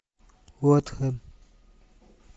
уотхэм